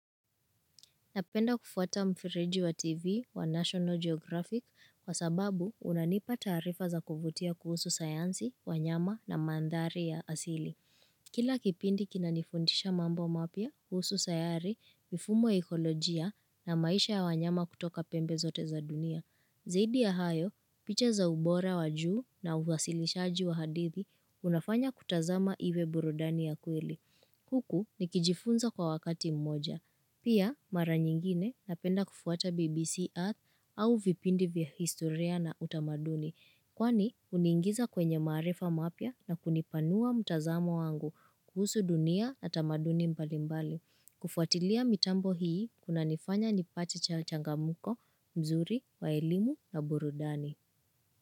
Napenda kufuata mfereji wa TV wa National Geographic kwa sababu, unanipa taarifa za kuvutia kuhusu sayansi, wanyama na mandhari ya asili. Kila kipindi kinanifundisha mambo mapya, kuhusu sayari, mifumo ya ekolojia na maisha ya wanyama kutoka pembe zote za dunia. Zaidi ya hayo, picha za ubora wa juu na uhasilishaji wa hadithi unafanya kutazama iwe burudani ya kweli. Huku, nikijifunza kwa wakati mmoja. Pia, mara nyingine napenda kufuata BBC Earth au vipindi vya historia na utamaduni. Kwani, uniingiza kwenye maarifa mapya na kunipanua mtazamo wangu kuhusu dunia na tamaduni mbalimbali. Kufuatilia mitambo hii kunanifanya nipate cha changamuko, mzuri, waelimu na burudani.